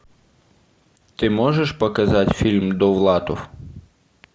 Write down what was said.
ты можешь показать фильм довлатов